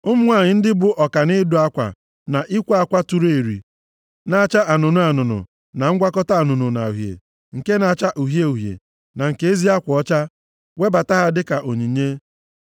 Ụmụ nwanyị ndị bụ ọka nʼịdụ akwa na ikwe akwa tụrụ eri na-acha anụnụ anụnụ, na ngwakọta anụnụ na uhie, nke na-acha uhie uhie na nke ezi akwa ọcha, webata ha dịka onyinye.